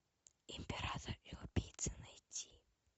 император и убийца найти